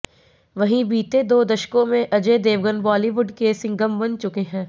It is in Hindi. वहीं बीते दो दशकों में अजय देवगन बॉलीवुड के सिंघम बन चुके हैं